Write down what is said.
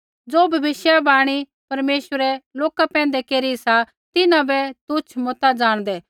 ज़ो भविष्यवाणी परमेश्वरै लोका पैंधै केरी सा तिन्हां बै तुच्छ मता ज़ाणदै